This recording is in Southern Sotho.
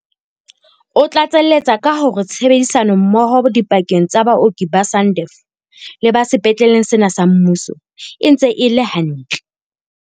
O tlatseletsa ka hore tshebedisano mmoho dipakeng tsa baoki ba SANDF le ba sepetleng sena sa mmuso e ntse e le hantle.